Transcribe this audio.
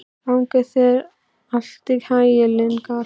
Gangi þér allt í haginn, Lyngar.